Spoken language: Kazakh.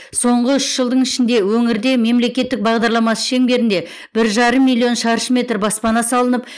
соңғы үш жылдың ішінде өңірде мемлекеттік бағдарламасы шеңберінде бір жарым миллион шаршы метр баспана салынып